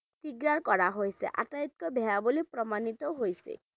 কৰা হৈছে আটাইতকৈ বেয়া বুলি প্ৰমাণিতও হৈছে